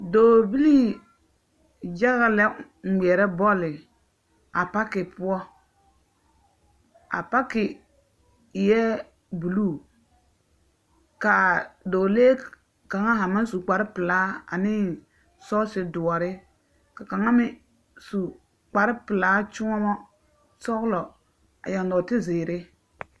Dɔɔbilii yaga la a ŋmeɛrɛ bɔle a pake poɔ. A pake eɛ buluu ka dɔɔlee kaŋa haa maŋ su kpare pelaa nae sɔɔse doɔre ka kaŋa meŋ su kpare pelaa kyõɔmɔ sɔgelɔ a yaŋ nɔɔte zeere.